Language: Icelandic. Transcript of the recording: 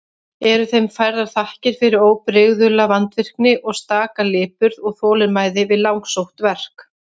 Eru þeim færðar þakkir fyrir óbrigðula vandvirkni og staka lipurð og þolinmæði við langsótt verk.